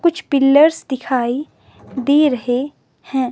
कुछ पिलर्स दिखाई दे रहे हैं।